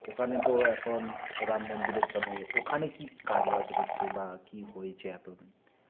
ওখানে তো এখন রাম মন্দিরের জন্যে ওখানে কী কাজবাজ হয়েছে বা কী হয়েছে এতোদিন